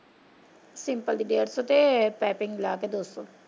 Simple ਦੀ ਡੇਢ ਸੋ ਤੇ ਪਾਈਪਿੰਗ ਲਾ ਕੇ ਦੋ ਸੋ।